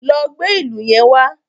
Lọ gbé ìlù yẹn wá.